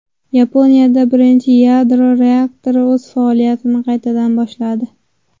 Yaponiyada birinchi yadro reaktori o‘z faoliyatini qaytadan boshladi .